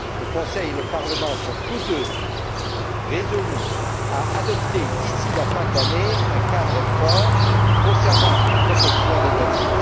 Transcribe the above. Le Conseil et le Parlement sont tous deux résolus à adopter, d'ici la fin de l'année, un cadre fort concernant la protection des données.